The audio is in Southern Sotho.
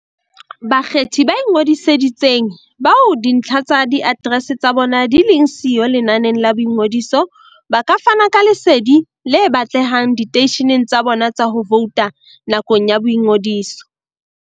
Bakgethi ba ingodisitseng, bao dintlha tsa diaterese tsa bona di leng siyo lenaneng la boingodiso, ba ka fana ka lesedi le batlehang diteisheneng tsa bona tsa ho vouta nakong ya boingodiso.